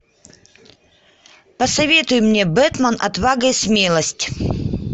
посоветуй мне бэтмен отвага и смелость